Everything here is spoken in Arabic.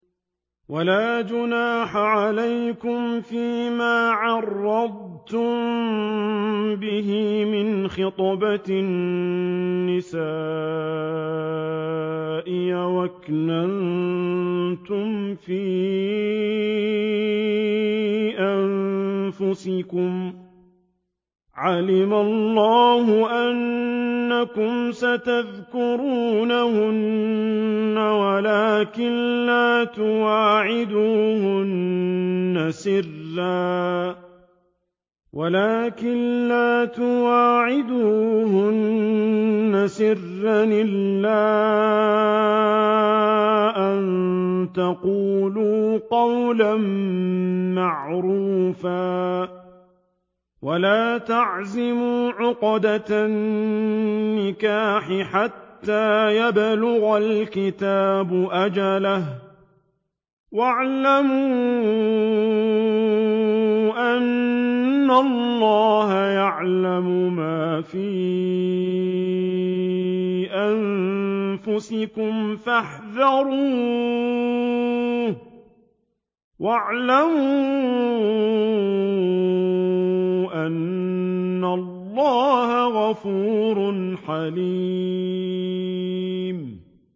وَلَا جُنَاحَ عَلَيْكُمْ فِيمَا عَرَّضْتُم بِهِ مِنْ خِطْبَةِ النِّسَاءِ أَوْ أَكْنَنتُمْ فِي أَنفُسِكُمْ ۚ عَلِمَ اللَّهُ أَنَّكُمْ سَتَذْكُرُونَهُنَّ وَلَٰكِن لَّا تُوَاعِدُوهُنَّ سِرًّا إِلَّا أَن تَقُولُوا قَوْلًا مَّعْرُوفًا ۚ وَلَا تَعْزِمُوا عُقْدَةَ النِّكَاحِ حَتَّىٰ يَبْلُغَ الْكِتَابُ أَجَلَهُ ۚ وَاعْلَمُوا أَنَّ اللَّهَ يَعْلَمُ مَا فِي أَنفُسِكُمْ فَاحْذَرُوهُ ۚ وَاعْلَمُوا أَنَّ اللَّهَ غَفُورٌ حَلِيمٌ